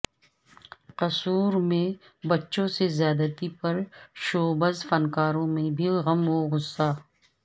قصور میں بچوں سے زیادتی پر شوبز فنکاروں میں بھی غم و غصہ